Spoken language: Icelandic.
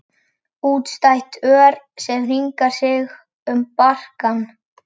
Útstætt ör sem hringar sig um barkann.